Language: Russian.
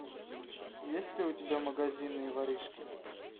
есть ли у тебя магазинные воришки